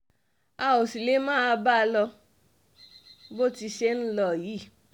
a ò sì lè máa bá a lọ bó ti ṣe ń lọ yìí